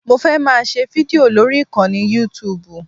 Mo fẹ́ máa ṣe fídìò lórí ìkànnì youtube